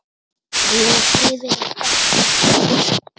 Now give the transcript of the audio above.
Ég er hrifinn af eggjum.